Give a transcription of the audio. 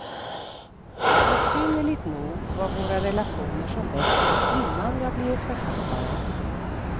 Besynnerligt nog var våra relationer som bäst innan jag blev författare.